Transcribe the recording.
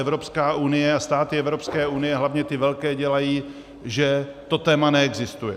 Evropská unie a státy Evropské unie, hlavně ty velké, dělají, že to téma neexistuje.